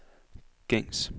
gængs